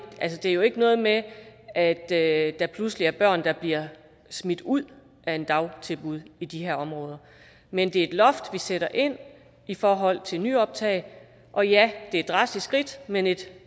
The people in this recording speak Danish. er jo ikke noget med at at der pludselig er børn der bliver smidt ud af et dagtilbud i de her områder men det er et loft vi sætter ind i forhold til nyoptag og ja det er et drastisk skridt men et